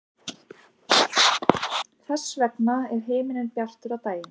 þess vegna er himinninn bjartur á daginn